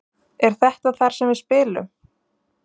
Er þetta þar sem við spilum?